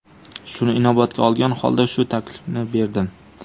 Shuni inobatga olgan holda shu taklifni berdim.